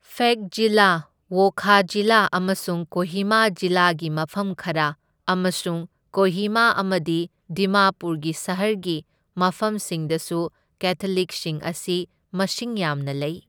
ꯐꯦꯛ ꯖꯤꯂꯥ, ꯋꯣꯈꯥ ꯖꯤꯂꯥ ꯑꯃꯁꯨꯡ ꯀꯣꯍꯤꯃꯥ ꯖꯤꯂꯥꯒꯤ ꯃꯐꯝ ꯈꯔ, ꯑꯃꯁꯨꯡ ꯀꯣꯍꯤꯃꯥ ꯑꯃꯗꯤ ꯗꯤꯃꯥꯄꯨꯔꯒꯤ ꯁꯍꯔꯒꯤ ꯃꯐꯝꯁꯤꯡꯗꯁꯨ ꯀꯦꯊꯣꯂꯤꯛꯁꯤꯡ ꯑꯁꯤ ꯃꯁꯤꯡ ꯌꯥꯝꯅ ꯂꯩ꯫